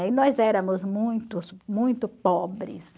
E nós éramos muitos, muito pobres.